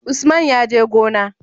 Usman ya je gona?